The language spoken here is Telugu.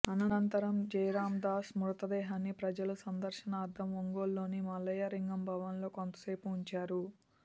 అనంతరం జయరామ్దాస్ మృతదేహాన్ని ప్రజల సందర్శనార్ధం ఒంగోలులోని మల్లయ్యలింగం భవన్లో కొంతసేపు ఉంచారు